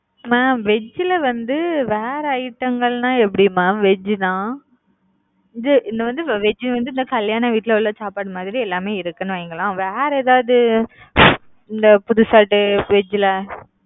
mam veg ல வந்து வேற item கள்னா எப்படி mam veg னா இந்தா இது வந்து veg னா கல்யாண வீட்டுல உள்ள சாப்பாடு மாதிரி எல்லாமே இருக்கும்னு வைங்கலேன், வேற ஏதாது இந்தா fruit salad veg,